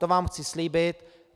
To vám chci slíbit.